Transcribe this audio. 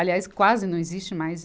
Aliás, quase não existe mais.